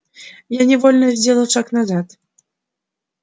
я невольно сделал шаг назад